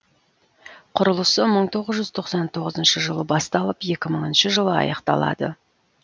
құрылысы мың тоғыз жүз тоқсан тоғызыншы жылы басталып екі мыңыншы жылы аяқталады